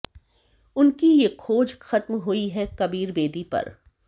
उनकी ये खोज खत्म हुई है कबीर बेदी पर